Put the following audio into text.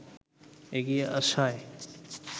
এগিয়ে আসায়